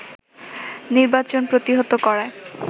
নির্বাচন প্রতিহত করার